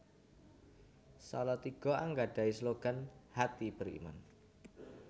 Salatiga anggadhahi slogan Hati Beriman